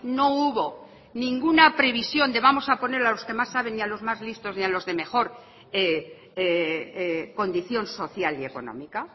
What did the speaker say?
no hubo ninguna previsión de vamos a poner a los que más saben y a los más listos y a los de mejor condición social y económica